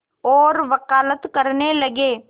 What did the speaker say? और वक़ालत करने लगे